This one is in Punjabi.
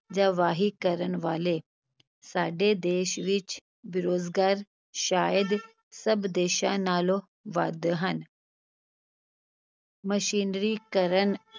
ਜਾਂ ਵਾਹੀ ਕਰਨ ਵਾਲੇ, ਸਾਡੇ ਦੇਸ ਵਿਚ ਬੇਰੁਜ਼ਗਾਰ ਸ਼ਾਇਦ ਸਭ ਦੇਸਾਂ ਨਾਲੋਂ ਵੱਧ ਹਨ ਮਸ਼ੀਨਰੀਕਰਨ,